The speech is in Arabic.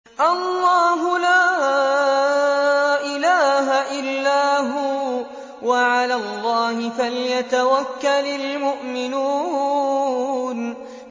اللَّهُ لَا إِلَٰهَ إِلَّا هُوَ ۚ وَعَلَى اللَّهِ فَلْيَتَوَكَّلِ الْمُؤْمِنُونَ